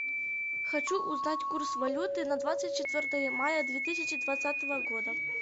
хочу узнать курс валюты на двадцать четвертое мая две тысячи двадцатого года